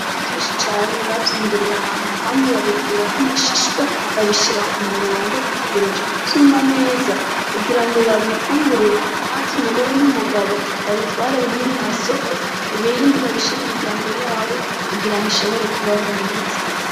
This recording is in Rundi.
Ibigori vyinshi cane babyimburiye ahantu hamye, babikuraho amashishwa, babishyira ku murongo bategereje ko vyuma neza kugira ngo babihure maze umugore n'umugabo babitware bimye mu masoko, ibindi babishyire imiryango yabo kugira ngo ishobore kubaho neza.